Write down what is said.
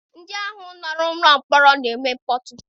Ndị ahụ nọ n'ụlọ mkpọrọ na-eme mkpọtụ.